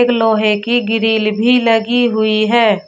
लोहे की ग्रिल भी लगी हुई है।